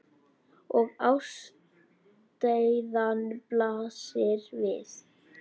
Og ástæðan blasir við.